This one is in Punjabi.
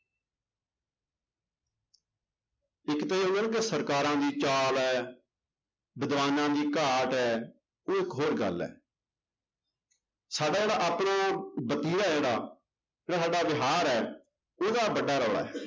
ਇੱਕ ਤਾਂ ਇਹ ਹੋ ਗਿਆ ਨਾ ਕਿ ਸਰਕਾਰਾਂ ਦੀ ਚਾਲ ਹੈ, ਵਿਦਵਾਨਾਂ ਦੀ ਘਾਟ ਹੈ ਉਹ ਇੱਕ ਹੋਰ ਗੱਲ ਹੈ ਸਾਡਾ ਜਿਹੜਾ ਆਪਣਾ ਵਤੀਰਾ ਹੈ ਜਿਹੜਾ, ਜਿਹੜਾ ਸਾਡਾ ਵਿਹਾਰ ਹੈ ਉਹਦਾ ਵੱਡਾ ਰੌਲਾ ਹੈ।